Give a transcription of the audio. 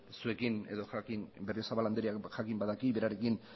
zuekin berriozabal andreak jakin badaki berarekin